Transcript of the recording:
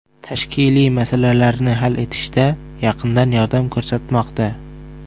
Tashkiliy masalalarni hal etishda yaqindan yordam ko‘rsatmoqda.